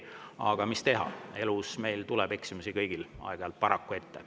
Aga mis teha, paraku meil kõigil tuleb elus eksimusi aeg-ajalt ette.